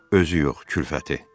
Özü yox, kürfəti.